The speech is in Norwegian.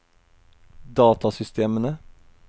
datasystemene